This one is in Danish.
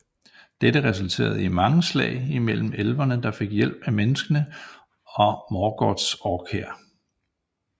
Dette resulterede i mange slag i mellem elverne der fik hjælp af menneskerne og Morgoths orkhær